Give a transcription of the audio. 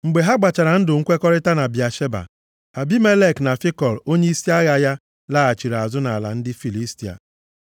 Mgbe ha gbachara ndụ nkwekọrịta na Bịasheba, Abimelek na Fikọl onyeisi agha ya laghachiri azụ nʼala ndị Filistia.